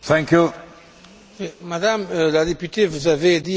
Madame la députée, vous avez dit exactement ce que je pense.